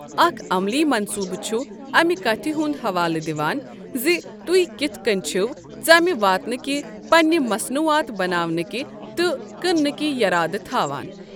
اکھ عملی منٛصوٗبہٕ چھ امہ کتھ ہنٛد حوالہٕ دِوان زِ تہۍ کِتھ کٔنۍ چھو ژمہِ واتنٕکۍ پَنٕنۍ مصنوعات بناونٕکۍ تہٕ کٕنٛنٕکۍ یَرادٕ تھاوان۔